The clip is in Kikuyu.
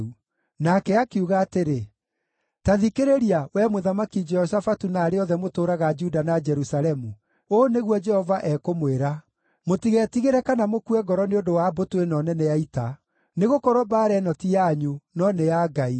Nake akiuga atĩrĩ, “Ta thikĩrĩria, wee Mũthamaki Jehoshafatu na arĩa othe mũtũũraga Juda na Jerusalemu! Ũũ nĩguo Jehova ekũmwĩra: ‘Mũtigetigĩre kana mũkue ngoro nĩ ũndũ wa mbũtũ ĩno nene ya ita. Nĩgũkorwo mbaara ĩno ti yanyu, no nĩ ya Ngai.